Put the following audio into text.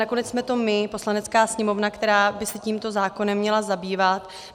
Nakonec jsme to my, Poslanecká sněmovna, která by se tímto zákonem měla zabývat.